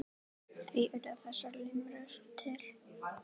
Því urðu þessar limrur til.